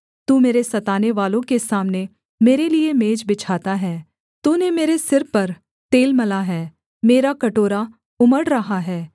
तू मेरे सतानेवालों के सामने मेरे लिये मेज बिछाता है तूने मेरे सिर पर तेल मला है मेरा कटोरा उमड़ रहा है